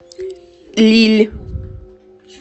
лилль